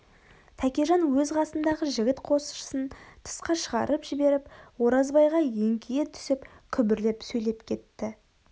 тәкежан өз қасындағы жігіт қосшысын тысқа шығарып жіберіп оразбайға еңкейе түсіп күбірлеп сөйлеп кетті